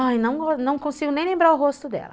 Ai, não consigo nem lembrar o rosto dela.